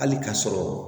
Hali k'a sɔrɔ